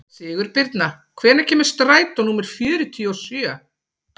Sigurbirna, hvenær kemur strætó númer fjörutíu og sjö?